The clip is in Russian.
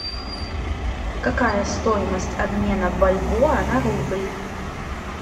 какая стоимость обмена бальбоа на рубль